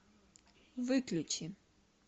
выключи